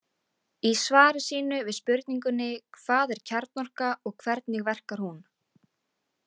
Í svari sínu við spurningunni Hvað er kjarnorka og hvernig verkar hún?